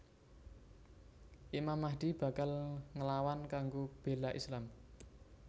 Imam Mahdi bakal nglawan kanggo béla Islam